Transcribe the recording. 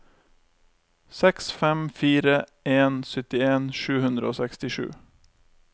seks fem fire en syttien sju hundre og sekstisju